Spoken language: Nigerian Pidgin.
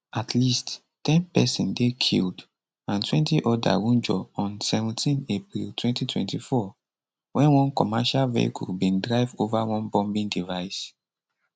at least ten pesin dey killed andtwentyoda wunjure on seventeenapril 2024 wen one commercial vehicle bin drive ova one bombing device